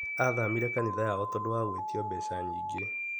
Athamire kanitha yao tondũ wa gwĩtio mbeca nyingĩ.